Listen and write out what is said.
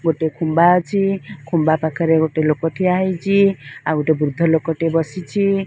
ଗୋଟେ ଖୁମ୍ବା ଅଛି ଖୁମ୍ବା ପାଖରେ ଗୋଟେ ଲୋକ ଠିଆ ହେଇଛି ଆଉ ଗୋଟେ ବୃଦ୍ଧ ଲୋକଟେ ବସିଛି।